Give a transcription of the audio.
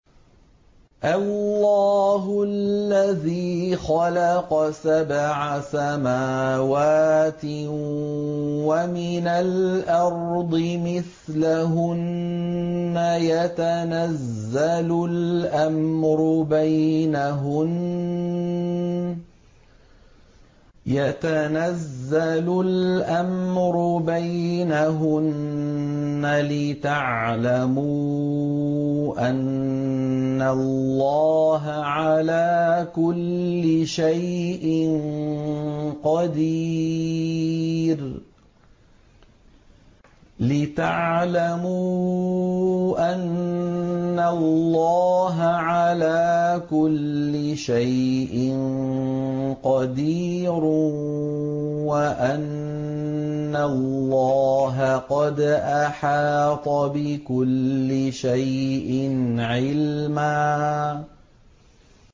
اللَّهُ الَّذِي خَلَقَ سَبْعَ سَمَاوَاتٍ وَمِنَ الْأَرْضِ مِثْلَهُنَّ يَتَنَزَّلُ الْأَمْرُ بَيْنَهُنَّ لِتَعْلَمُوا أَنَّ اللَّهَ عَلَىٰ كُلِّ شَيْءٍ قَدِيرٌ وَأَنَّ اللَّهَ قَدْ أَحَاطَ بِكُلِّ شَيْءٍ عِلْمًا